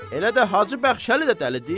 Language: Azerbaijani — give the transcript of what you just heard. Elə də Hacı Bəxşəli də dəlidi?